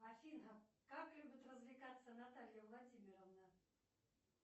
афина как любит развлекаться наталья владимировна